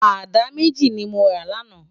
Àdá méjí ni mó rá làná